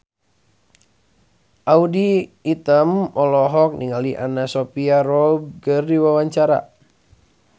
Audy Item olohok ningali Anna Sophia Robb keur diwawancara